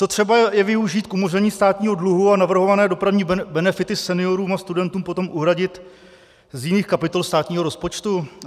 Co třeba je využít k umoření státního dluhu a navrhované dopravní benefity seniorům a studentům potom uhradit z jiných kapitol státního rozpočtu?